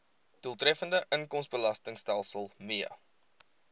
doeltreffende inkomstebelastingstelsel mee